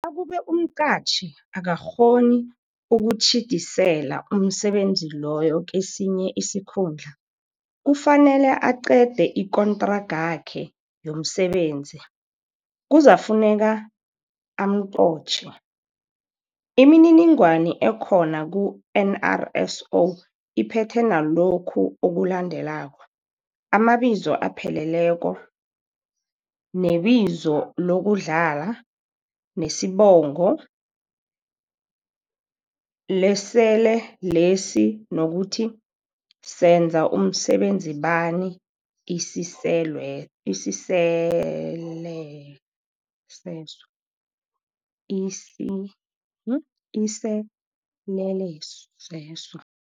Nakube umqatjhi akakg honi ukutjhidisela umsebenzi loyo kesinye isikhundla, kufuneka aqede ikontragakhe yomsebenzi, kuzakufuneka amqotjhe. Imininingwana ekhona ku-NRSO iphethe nalokhu oku-landelako, amabizo apheleleko, nebizo lokudlala, nesibongo, lesele lesi nokuthi senza msebenzibani iseleleseso.